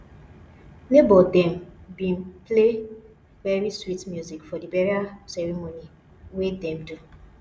nebor dem bin play very sweet music for the burial ceremony wey dem do